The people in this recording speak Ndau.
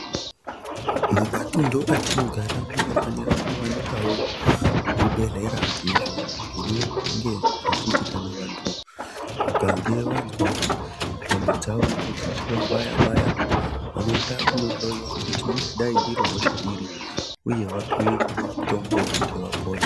Mumatundu atinogara munofanira kuwanikawo zvibhehlera izvo zvinonge zvechiti kana vantu vakange vazwa nyama dzavo dzichivabaya baya vanoenda kunohloyiwa kuti ingadai iri hosha iri uye vapuwe mutombo kuti vapore.